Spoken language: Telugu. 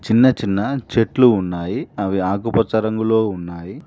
చిన్న చిన్న చెట్లు ఉన్నాయి అవి ఆకుపచ్చ రంగులో ఉన్నాయి.